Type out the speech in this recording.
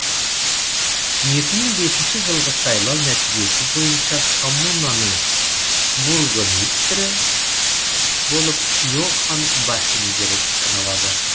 екі мың бесінші жылғы сайлау нәтижесі бойынша коммунаның бургомистрі болып йохан бахингер саналады